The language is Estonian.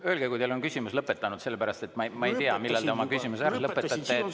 Öelge, kui teil on küsimus lõpetatud, sest ma ei tea, millal te oma küsimuse ära lõpetate.